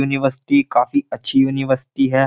University काफी अच्छी university है।